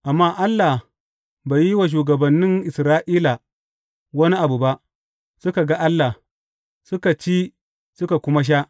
Amma Allah bai yi wa shugabannin Isra’ila wani abu ba; suka ga Allah, suka ci suka kuma sha.